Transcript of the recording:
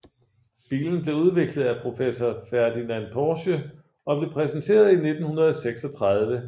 Bilen blev udviklet af professor Ferdinand Porsche og blev præsenteret i 1936